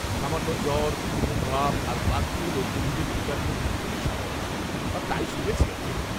সামান্য জ্বর, ঘুম ঘুম ভাব, আর ক্লান্তি হল কোভিডের টিকার ক্ষেত্রে খুবই সাধারণ, বা তাই শুনেছি আর কি।